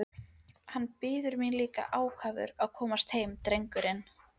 Hann bíður mín líka ákafur að komast heim drengurinn!